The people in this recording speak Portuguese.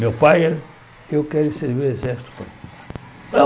Meu pai, eu quero servir o Exército, pai. Não